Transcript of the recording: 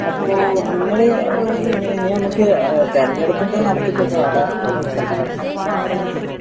അപ്പൊ നിങ്ങൾ തിരഞ്ഞെടുപ്പിന്റെ നടത്തിപ്പ് ഒക്കെ അവിടെ നിക്കട്ടെ പക്ഷെ നമ്മൾ